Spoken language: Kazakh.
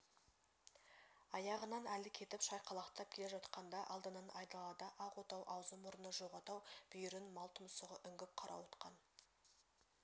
аяғынан әлі кетіп шайқалақтап келе жатқанда алдынан айдалада ақ отау аузы-мұрны жоқ отау бүйірін мал тұмсығы үңгіп қарауытқан